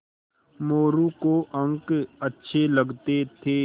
मोरू को अंक अच्छे लगते थे